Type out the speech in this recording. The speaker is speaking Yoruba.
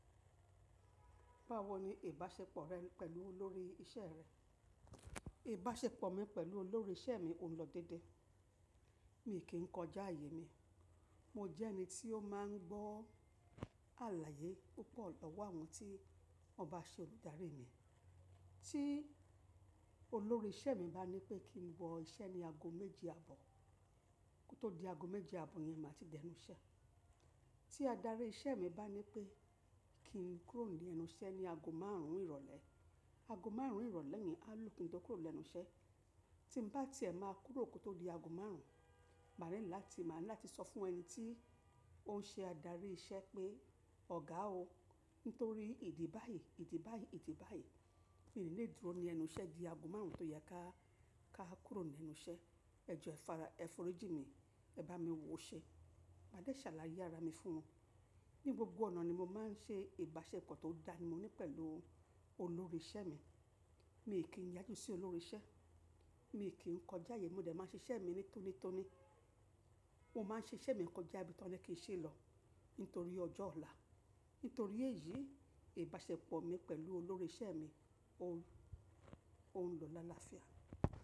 Báwo ni ìbáṣepọ̀ rẹ pẹ̀lú olórí iṣẹ́ rẹ? Ìbáṣepọ̀ mi pẹ̀lú olórí iṣẹ́ mi òún lọ dédé. Mi kì í kọjá àyè mi, mo jẹ́ ẹni tí ó máà ń gbọ́ àlàyé púpọ̀ lọ́wọ́ àwọn tí wọ́n bá ṣe olùdarí mi. Tí olórí iṣẹ́ mi bá ní pé kí n wọ iṣẹ́ ní ago méje àbọ̀, kó tó di ago méje àbò yẹn máa ti dẹnu iṣẹ́. Tí adarí iṣẹ́ mi bá ní pé kí n kúrò ní ẹnu iṣẹ́ ní ago márùn ún ìrọ̀lẹ́, ago márùn ún ìrọ̀lẹ́ mi á lù kin tó kúrò lẹ́nu iṣẹ́. Tí mo bá tiẹ́ máa kúrò kó tó di ago márùn ún, ma ready la ti, máa ní láti sọ fún ẹni tí ó ń ṣe adarí iṣẹ́ pé "ọ̀gá o, nítorí ìdí báyìí, ìdí báyìí, ìdí báyìí, mi ò níí lé dúró ní ẹnu iṣẹ́ di ago márùn ún tó yẹ ká, ká kúrò ní ẹnu iṣẹ́. Ẹ̀jọ́ ẹ fara, ẹ f'orí jí mi, ẹ bá mi wo ṣẹ́." Màá dé ṣàlàyé ara mi fún wọn. Ni gbogbo ọ̀nà ni mo máa ń ṣe ìbáṣepọ̀ tó dá ni mo ní pẹ̀lú olórí iṣẹ́ mi. Mi kì n í yájú sí olórí iṣẹ́, mi kì í n kọjá àyè, mo dẹ̀ máa ń ṣe iṣẹ́ mi tónítóní. Mo máa ń ṣe iṣẹ́ mi kọjá ibi tí wọ́n ní kí n ṣe lọ nítorí ọjọ́ ọ̀la. Nítorí èyí ìbáṣepọ̀ mi pẹ̀lú olórí iṣẹ́ mi òún, òún lọ l áláafíà.